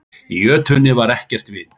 Í jötunni var ekkert vit.